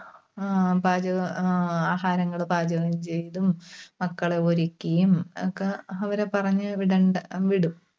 ആഹ് പാചക ആഹ് ആഹാരങ്ങള് പാചകം ചെയ്‌തും, മക്കളെ ഒരുക്കിയും ഒക്കെ അവരെ പറഞ്ഞുവിടണ്ട വിടും.